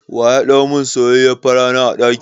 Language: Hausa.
Waya ɗau mun soyayyiyar farana a ɗaki?